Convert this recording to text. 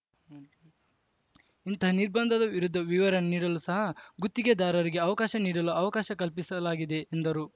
ಇಂತಹ ನಿಬಂರ್‍ಧದ ವಿರುದ್ಧ ವಿವರಣೆ ನೀಡಲೂ ಸಹ ಗುತ್ತಿಗೆದಾರರಿಗೆ ಅವಕಾಶ ನೀಡಲು ಅವಕಾಶ ಕಲ್ಪಿಸಲಾಗಿದೆ ಎಂದರು